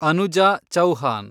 Anuja Chauhan